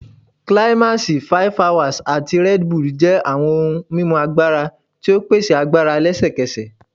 Climax, 5hours, ati Red Bull jẹ awọn ohun mimu agbara ti o pese agbara lẹsẹkẹsẹ